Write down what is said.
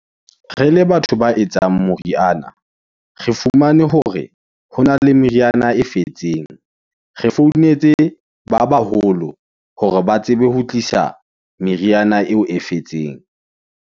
Re le batho ba etsang moriana, re fumane hore hona le meriana e fetseng. Re founetse ba baholo, hore ba tsebe ho tlisa meriana eo e fetseng.